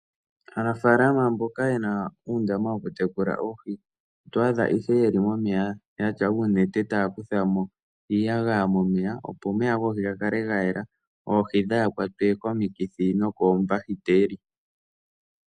Aanafalama mboka ye na uundama wokutekula oohi oto adha ihe ye li momeya ya tya uunete taya kutha mo iiyagaya momeya, opo omeya goohi ga kale ga yela, oohi dhaa kwatwe komikithi nokoombahiteli.